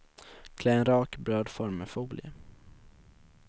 Klä en rak brödform med folie.